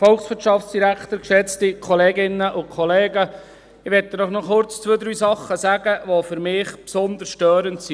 Ich möchte Ihnen noch kurz zwei, drei Dinge sagen, die für mich besonders störend sind.